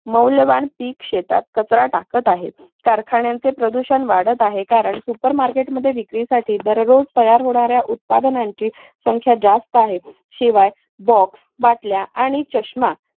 मौल्यवान पीक शेतात कचरा टाकत आहेत. कारखान्यांचे प्रदूषण वाढत आहे कारण super market मध्ये विक्रीसाठी दररोज तयार होणाऱ्या उत्पादनांची संख्या जास्त आहे शिवाय box, बाटल्या आणि चष्मा